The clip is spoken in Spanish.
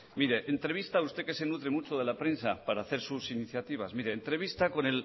usted que se nutre mucho de la prensa para hacer sus iniciativas entrevista